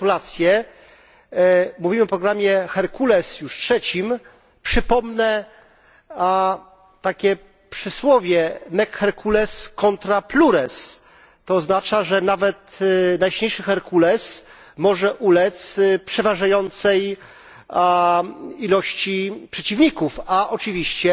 Gratulacje! Mówimy o programie Herkules, już trzecim, przypomnę takie przysłowie to oznacza, że nawet najsilniejszy Herkules może ulec przeważającej ilości przeciwników, a oczywiście